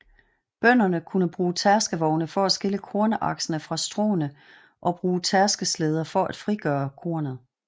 Bønderne kunne bruge tærskevogne for at skille kornaksene fra stråene og bruge tærskeslæder for at frigøre kornet